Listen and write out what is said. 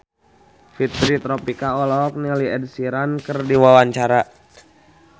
Fitri Tropika olohok ningali Ed Sheeran keur diwawancara